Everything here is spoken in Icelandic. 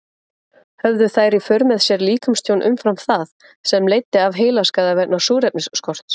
Höfðu þær í för með sér líkamstjón umfram það, sem leiddi af heilaskaða vegna súrefnisskorts?